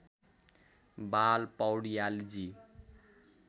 बाल पौड्यालजी